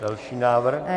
Další návrh.